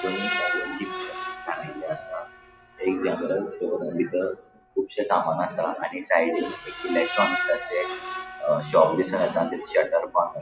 दोनी साइडीन चिप्स लाविल्ले आसा थंय जनरल स्टोर बितर कुबशे सामान आसा आणि साइडीन एक इलेक्ट्रॉनिका चे अ शॉप दिसोन येता तेजे शटर बंद --